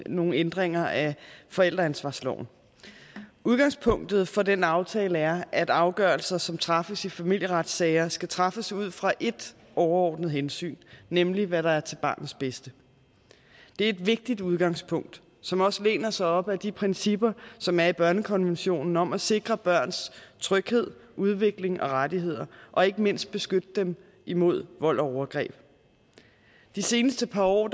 nogle ændringer af forældreansvarsloven udgangspunktet for den aftale er at afgørelser som træffes i familieretssager skal træffes ud fra ét overordnet hensyn nemlig hvad der er til barnets bedste det er et vigtigt udgangspunkt som også læner sig op ad de principper som er i børnekonventionen om at sikre børns tryghed udvikling og rettigheder og ikke mindst beskytte dem imod vold og overgreb de seneste par år